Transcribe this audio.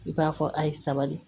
I b'a fɔ a ye sabali